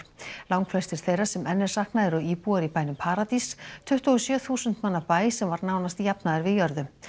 langflestir þeirra sem enn er saknað eru íbúar í bænum paradís tuttugu og sjö þúsund manna bæ sem var nánast jafnaður við jörðu